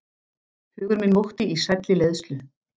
Hugur minn mókti í sælli leiðslu.